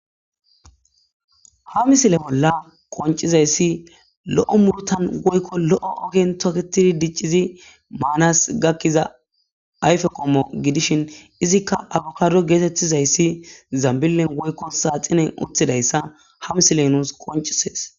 Ha misile bolla qoncizayssi lo'o muurutan woykko lo'o ogen toketidi diciidi maanas gakiza ayfe qomo gidishin izikka akbaddo geetetizaysi zambilen woykko saaxinen uttidayssa ha misiley nuus qoncises.